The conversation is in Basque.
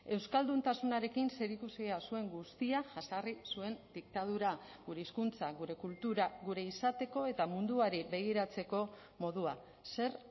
euskalduntasunarekin zerikusia zuen guztia jazarri zuen diktadura gure hizkuntza gure kultura gure izateko eta munduari begiratzeko modua zer